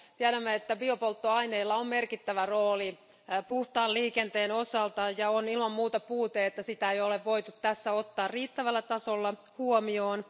Tiedämme, että biopolttoaineilla on merkittävä rooli puhtaan liikenteen osalta ja on ilman muuta puute, että sitä ei ole voitu tässä ottaa riittävällä tasolla huomioon.